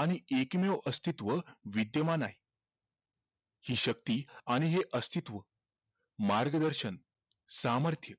आणि एकमेव अस्थित्व विद्येमान आहे हि शक्ती आणि हे अस्थित्व मार्गदर्शन सामर्थ्य